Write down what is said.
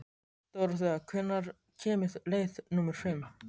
Dóróthea, hvenær kemur leið númer fimm?